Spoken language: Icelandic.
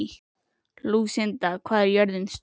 Lúsinda, hvað er jörðin stór?